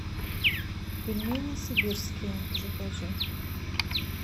пельмени сибирские закажи